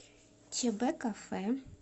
чбкафе